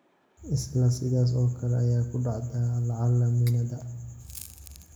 Isla sidaas oo kale ayaa ku dhacda lacala miinada.